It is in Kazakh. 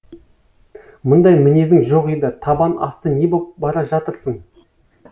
мұндай мінезің жоқ еді табан асты не боп бара жатырсың